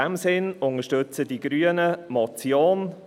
Deshalb unterstützen die Grünen diese Motion.